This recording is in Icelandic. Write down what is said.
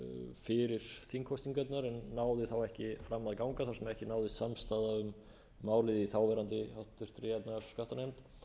þingkosningarnar en náði þá ekki fram að ganga þar sem ekki náðist samstaða um málið í þáverandi háttvirtrar efnahags og skattanefnd